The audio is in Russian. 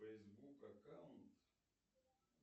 фейсбук аккаунт